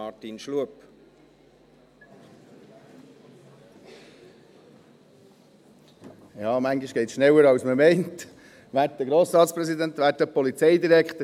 Manchmal geht es schneller, als man denkt, werter Grossratspräsident, werter Polizeidirektor.